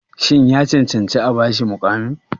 Shin ya cancanci a ba shi muƙamin?